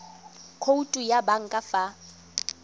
khoutu ya banka fa ba